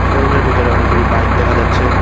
শোরুমের ভিতরে অনেকগুলি বাইক দেখা যাচ্ছে।